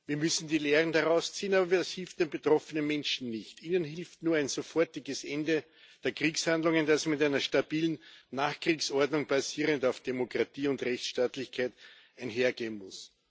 Wir müssen die Lehren daraus ziehen, aber das hilft den betroffenen Menschen nicht. Ihnen hilft nur ein sofortiges Ende der Kriegshandlungen, das mit einer stabilen Nachkriegsordnung, basierend auf Demokratie und Rechtsstaatlichkeit, einhergehen muss.